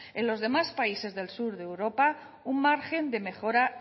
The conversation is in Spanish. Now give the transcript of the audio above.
en los demás países del sur de europa un margen de mejora